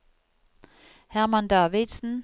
Hermann Davidsen